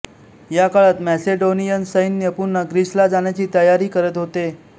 या काळात मॅसेडोनियन सैन्य पुन्हा ग्रीसला जाण्याची तयारी करत होते